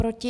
Proti?